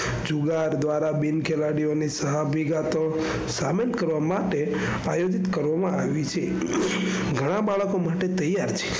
ચુલાહટ દ્વારા બિન ખેલાડીઓ ની સહૃદયી કાતો સાબિત કરવા માટે કરવામાં આવી છે. ગણા બાળકો માટે તૈયાર છે.